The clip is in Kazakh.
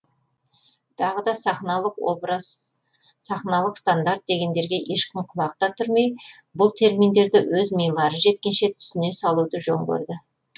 тағы да сахналық образ сахналық стандарт дегендерге ешкім құлақ та түрмей бұл терминдерді өз милары жеткенше түсіне салуды жөн көрді